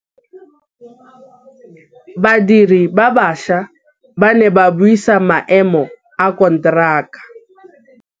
Badiri ba baša ba ne ba buisa maêmô a konteraka.